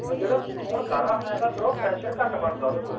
ਜਦੋਂ ਖੂਨ ਗਾੜਾ ਹੋ ਜਾਂਦਾ ਫ਼ਿਰ ਉਹ pressure ਘੱਟ ਬਣਦਾ ਉਹਦੇ ਕੋਲੋਂ